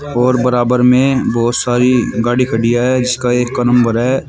और बराबर में बहुत सारी गाड़ी खड़ी है जिसका एक का नंबर है।